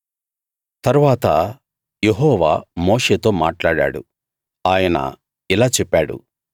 తరువాత యెహోవా మోషేతో మాట్లాడాడు ఆయన ఇలా చెప్పాడు